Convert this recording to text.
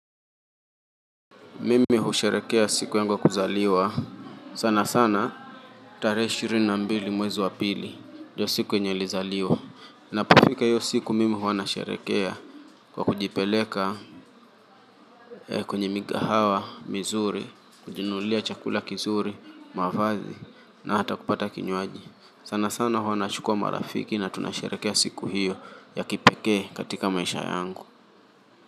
Mimi husherehekea siku yangu ya kuzaliwa. Sana sana. Tarehe ishirini na mbili mwezi wa pili. Ndiyo siku yenye nilizaliwa. Napofika hiyo siku mimi huwa nasherehekea. Kwa kujipeleka. Kwenye mikahawa, mizuri. Kujinulia chakula kizuri, mavazi. Na hata kupata kinyuaji. Sana sana huwa nachukua marafiki na tunasherehekea siku hiyo. Ya kipekee katika maisha yangu.